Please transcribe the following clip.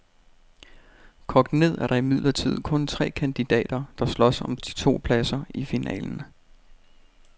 Kogt ned er der imidlertid kun tre kandidater, der slås om de to pladser i finalen.